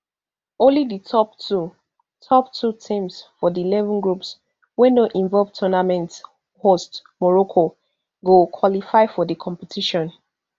only di top two top two teams for di eleven groups wey no involve tournament hosts morocco go qualify for di competition